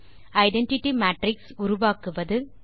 identity matrix உருவாக்குவது